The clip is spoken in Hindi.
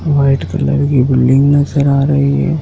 व्हाइट कलर की बिल्डिंग नजर आ रही है।